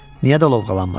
Niyə də lovğalanmasın?